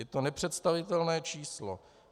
Je to nepředstavitelné číslo.